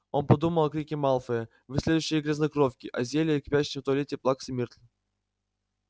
он подумал о крике малфоя вы следующие грязнокровки о зелье кипящем в туалете плаксы миртл